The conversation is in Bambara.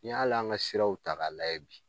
Ni ye hali an ka siraw ta ka layɛ bi